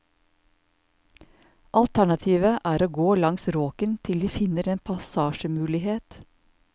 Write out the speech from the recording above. Alternativet er å gå langs råken til de finner en passasjemulighet.